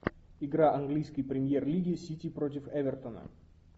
игра английской премьер лиги сити против эвертона